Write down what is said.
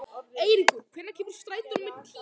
Eiríkur, hvenær kemur strætó númer tíu?